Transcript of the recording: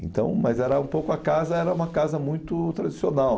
Então, mas era um pouco a casa, era uma casa muito tradicional.